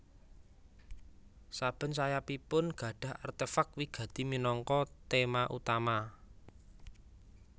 Saben sayapipun gadhah artefak wigati minangka tema utama